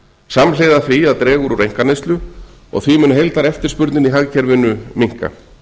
samhliða því að dregur úr einkaneyslu og því mun heildareftirspurnin í hagkerfinu minnka